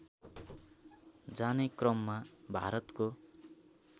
जाने क्रममा भारतको